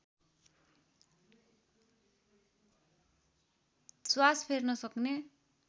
श्वास फेर्न सक्ने